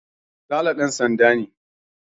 Sale ɗan sanda ne